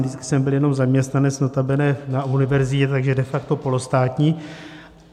Vždycky jsem byl jenom zaměstnanec, notabene na univerzitě, takže de facto polostátní.